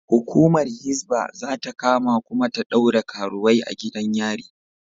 Hukumar Hisbah za ta kama kuma ta ɗaure karuwai a gidan yari.